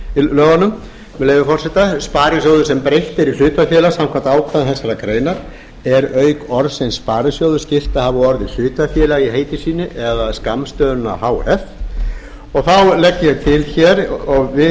í lögunum með leyfi forseti sparisjóði sem breytt er í hlutafélag samkvæmt ákvæðum þessarar greinar er auk orðsins orðsins sparisjóður skylt að hafa orðið hlutafélag í heiti sínu eða skammstöfunina h f þá legg ég til hér og við